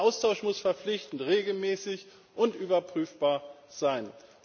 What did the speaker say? Der Austausch muss verpflichtend, regelmäßig und überprüfbar sein.